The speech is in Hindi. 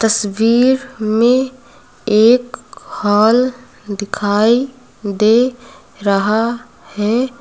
तस्वीर में एक हॉल दिखाई दे रहा है।